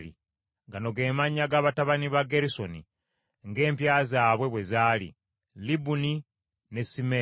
Gano ge mannya g’abatabani ba Gerusoni ng’empya zaabwe bwe zaali: Libuni ne Simeeyi.